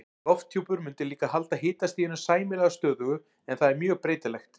Lofthjúpur mundi líka halda hitastiginu sæmilega stöðugu en það er mjög breytilegt.